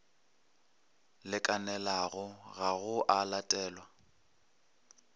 lekanelago ga go a latelwa